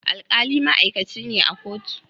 alkali ma'aikaci ne a kotu